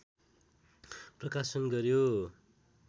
प्रकाशन गऱ्यो